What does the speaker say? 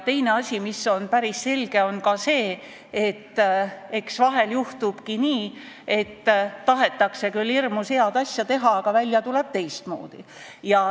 Teine asi, mis on päris selge, on see, et eks vahel juhtubki nii, et tahetakse küll hirmus head asja teha, aga välja tuleb teistmoodi.